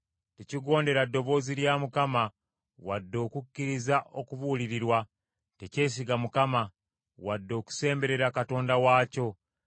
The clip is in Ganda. Tekigondera ddoboozi lya Mukama , wadde okukkiriza okubuulirirwa; tekyesiga Mukama ; wadde okusemberera Katonda waakyo.